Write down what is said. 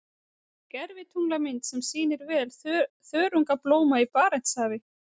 Gervitunglamynd sem sýnir vel þörungablóma í Barentshafi.